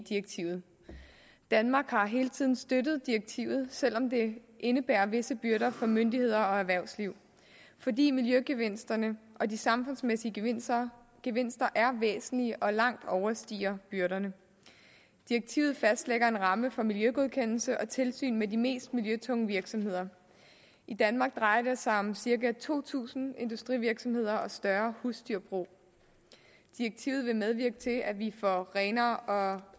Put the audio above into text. direktivet danmark har hele tiden støttet direktivet selv om det indebærer visse byrder for myndigheder og erhvervsliv fordi miljøgevinsterne og de samfundsmæssige gevinster gevinster er væsentlige og langt overstiger byrderne direktivet fastlægger en ramme for miljøgodkendelse og tilsyn med de mest miljøtunge virksomheder i danmark drejer det sig om cirka to tusind industrivirksomheder og større husdyrbrug direktivet vil medvirke til at vi får renere